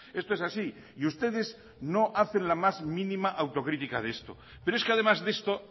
esto es así y ustedes no hacen la más mínima autocrítica de esto pero es que además de esto